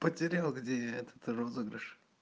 потерял где этот розыгрыш